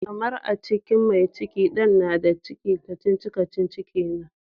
Karmar, a cikin mai cikin Dan na da ciki, kacici-kacici kenan.